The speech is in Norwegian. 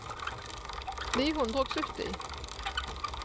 ni hundre og sytti